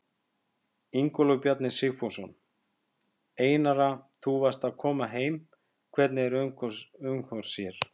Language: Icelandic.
Ingólfur Bjarni Sigfússon: Einara þú varst að koma heim, hvernig er umhorfs hérna?